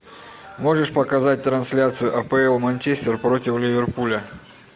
можешь показать трансляцию апл манчестер против ливерпуля